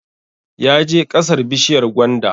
Ya je ƙasar bishiyar gwanda